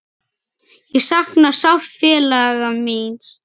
Ég sakna sárt félaga míns.